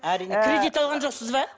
кредит алған жоқсыз ба